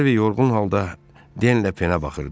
Harvi yorğun halda Denlə Penə baxırdı.